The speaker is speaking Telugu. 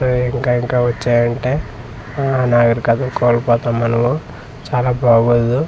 అహ్ ఇంకా-ఇంకా వచ్చాయంటే అహ్ నాగరికతను కోల్పోతాం మనము చాలా బాగోదు.